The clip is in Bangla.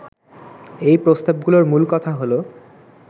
এই প্রস্তাবগুলোর মূল কথা হলো